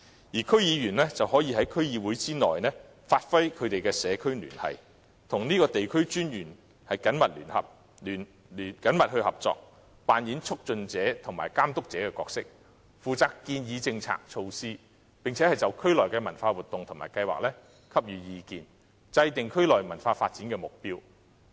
而區議員可在區議會內發揮社區聯繫的作用，與地區文化專員緊密合作，扮演促進者和監督者的角色，負責建議政策和措施，並就區內的文化活動和計劃給予意見，制訂區內文化發展的目標。